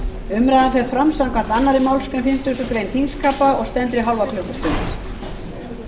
umræðan fer fram samkvæmt annarri málsgrein fimmtugustu grein þingskapa og stendur í